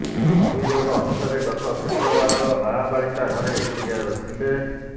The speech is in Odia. ଅଭିଯୋଗ ଅନୁସାରେ ଗତ ଶୁକ୍ରବାର ନାବାଳିକା ଘରେ ଏକୁଟିଆ ଥିଲେ